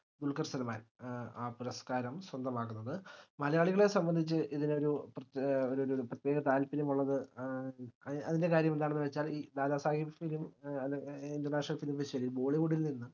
ദുൽക്കർ സൽമാൻ ഏർ ആ പുരസ്ക്കാരം സ്വന്തമാക്കുന്നത്. മലയാളികളെ സംബന്ധിച്ച് ഇതിലൊരു പ്രേത്യേ ഏഹ് ഒരു ഒര് പ്രത്യേക താല്പര്യം ഉള്ളത് ഏഹ് അതിന്റെ കാര്യം എന്താണ് വെച്ചാ ഇ ദാദാ സാഹിബ് ഏർ international film festival bollywood ൽ നിന്ന്